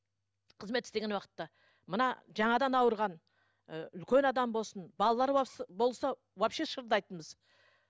қызмет істеген уақытта мына жаңадан ауырған ыыы үлкен адам болсын балалар болса вообще шырылдайтынбыз